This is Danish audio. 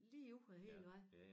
Ligeud af hele æ vej